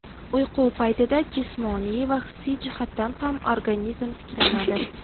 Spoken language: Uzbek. Uyqu paytida jismoniy va hissiy jihatdan ham organizm tiklanadi.